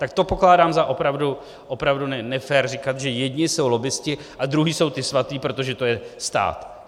Tak to pokládám za opravdu nefér říkat, že jedni jsou lobbisti a druzí jsou ti svatí, protože to je stát.